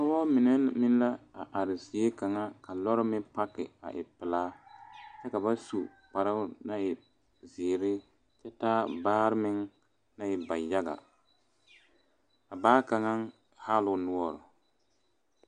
Pɔgeba mine meŋ la a are zie kaŋa ka loɔre meŋ pake a e pelaa kyɛ ka ba su kparo naŋ e ziiri kyɛ taa baare meŋ naŋ e bayaga a baa kaŋa haa la o noɔre.